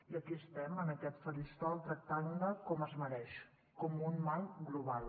i aquí estem en aquest faristol tractant la com es mereix com un mal global